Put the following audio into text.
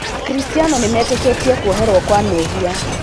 Akristiano nĩmetĩkĩtie kwoherwo kwa mehia.